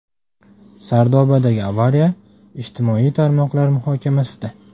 Sardobadagi avariya ijtimoiy tarmoqlar muhokamasida.